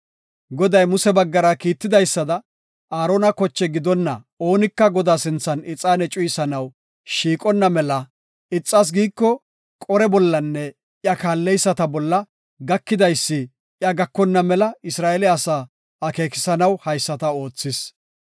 Goday Muse baggara kiitidaysada, Aarona koche gidonna oonika Godaa sinthan ixaane cuyisanaw shiiqonna mela, ixas giiko, Qore bollanne iya kaalleyisata bolla gakidaysi iya gakonna mela Isra7eele asaa akeekisanaw haysata oothis.